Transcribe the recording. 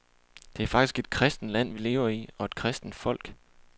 Det er faktisk et kristent land, vi lever i, og et kristent folk.